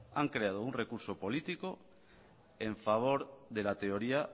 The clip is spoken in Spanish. han creado un recurso político a favor de la teoría